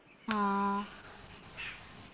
ആ